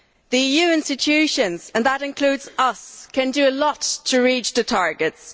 The EU institutions and that includes us can do a lot to reach the targets.